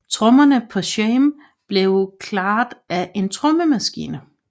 Trommerne på Shame blev klaret af en trommemaskine